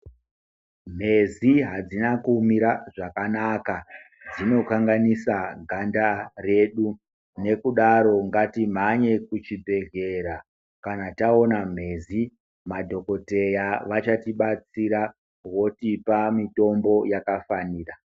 Mhezi adzina kumira zvakanaka dzinokamganisa ganda redu nekudaro ngatimhanye kuchibhehlera kana taona mhezi madhokotera achatibatsira votipa mitombo yakafanira.